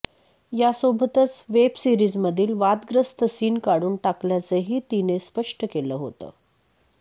यासोबतच वेब सीरिजमधील वादग्रस्त सीन काढून टाकल्याचंही तिने स्पष्ट केलं होतं